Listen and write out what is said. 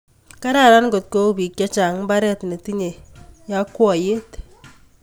Kararan ngotkou bik chechang mbaret netinyei yakwaiyet